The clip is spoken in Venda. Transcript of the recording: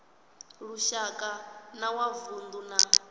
lushaka na wa vundu na